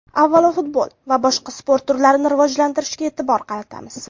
Avvalo futbol va boshqa sport turlarini rivojlantirishga e’tibor qaratamiz.